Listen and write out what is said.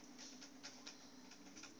vorm uf invul